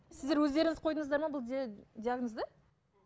сіздер өздеріңіз қойдыңыздар ма бұл диагнозды